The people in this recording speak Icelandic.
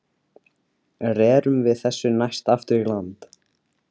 Rerum við þessu næst aftur í land.